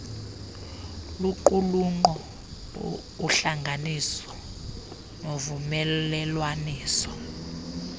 luqulunkqo uhlanganiso novumelelwaniso